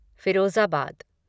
Firozabad